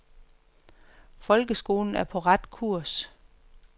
Folkeskolen er på ret kurs.